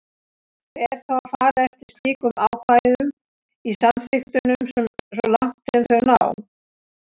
Ber þá að fara eftir slíkum ákvæðum í samþykktunum svo langt sem þau ná.